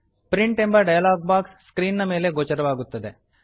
print ಎಂಬ dialog box screen ಮೇಲೆ ಗೋಚರವಾಗುತ್ತದೆ